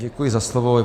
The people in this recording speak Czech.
Děkuji za slovo.